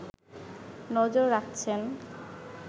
নজর রাখছেন